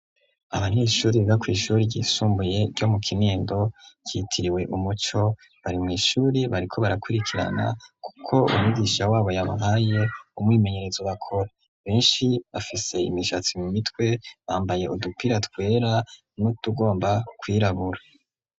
Abanyeshuri bo kw'ishure ryisumbuye ryo mu kinindo ryitiriwe umuco bari mw' ishurie bariko barakurikirana kuko umigisha wabo yabahaye umwimenyerezo bakora benshi bafise imishatsi mu mitwe bambaye udupira twera n'utugomba kwirabura.